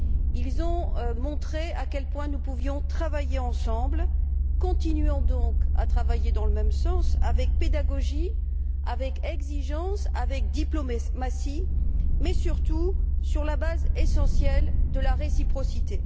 Ils ont montré à quel point nous pouvions travailler ensemble. Continuons donc à travailler dans le même sens avec pédagogie, avec exigence, avec diplomatie, mais surtout sur la base essentielle de la réciprocité.